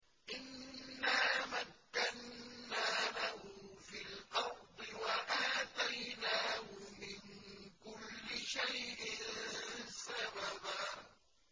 إِنَّا مَكَّنَّا لَهُ فِي الْأَرْضِ وَآتَيْنَاهُ مِن كُلِّ شَيْءٍ سَبَبًا